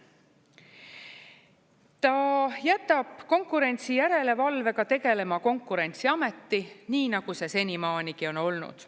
Ta jätab konkurentsijärelevalvega tegelema Konkurentsiameti, nii nagu see senimaanigi on olnud.